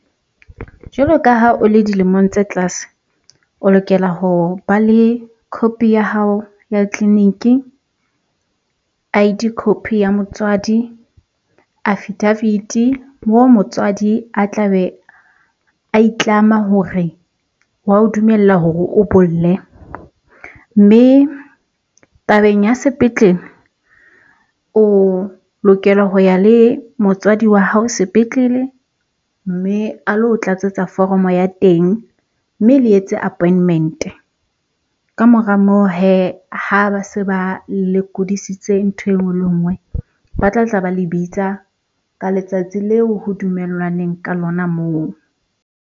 Jwalo ka ha o le dilemong tse tlase, o lokela hore ba le copy ya hao ya tleliniki, I_D copy ya motswadi, affidavit-i moo motswadi a tla be a a itlama hore wa o dumella hore o bolle. Mme tabeng ya sepetlele, o lokela ho ya le motswadi wa hao sepetlele mme a lo tlatsetsa foromo ya teng mme le etse appointment-e. Ka mora moo hee ha ba se ba lekodisitse ntho e nngwe le nngwe, ba tla tla ba le bitsa ka letsatsi leo ho dumellwaneng ka lona moo.